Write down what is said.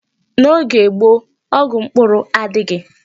N'oge gboo, ọgwụ mkpụrụ adịghị.